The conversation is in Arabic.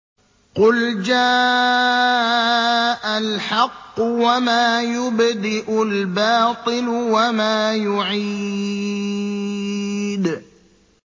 قُلْ جَاءَ الْحَقُّ وَمَا يُبْدِئُ الْبَاطِلُ وَمَا يُعِيدُ